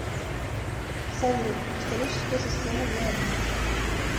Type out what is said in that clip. салют кристаллическая система гиалит